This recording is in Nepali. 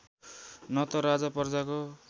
न त राजा प्रजाको